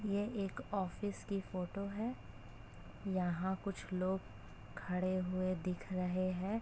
यह एक ऑफिस की फोटो है। यहा कुछ लोग खड़े हुए दिख रहे हैं।